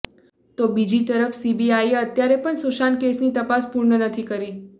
તો બીજી તરફ સીબીઆઈએ અત્યારે પણ સુશાંત કેસની તપાસ પૂર્ણ નથી કરી